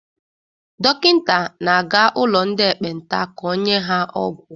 Dọkịta na-aga ụlọ ndị ekpenta ka o nye ha ọgwụ.